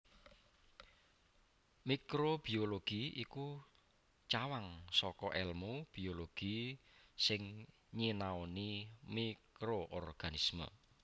Mikrobiologi iku cawang saka èlmu biologi sing nyinaoni mikroorganisme